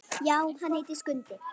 Já, hann heitir Skundi.